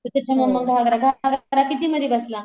म घागरा कितीमधी बसला?